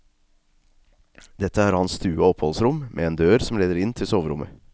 Dette er hans stue og oppholdsrom, med en dør som leder inn til soverommet.